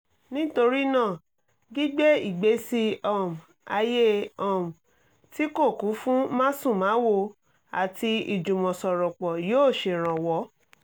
nítorí náà gbígbé ìgbésí um ayé um tí kò kún fún másùnmáwo àti ìjùmọ̀sọ̀rọ̀pọ̀ yóò ṣèrànwọ́